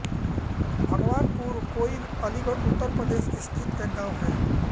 भगवानपुर कोइल अलीगढ़ उत्तर प्रदेश स्थित एक गाँव है